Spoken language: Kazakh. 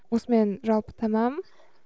осымен жалпы тәмам